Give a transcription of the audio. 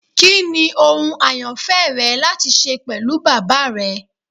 Kini ohun ayanfẹ rẹ lati ṣe pẹlu baba rẹ?